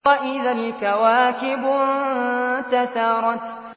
وَإِذَا الْكَوَاكِبُ انتَثَرَتْ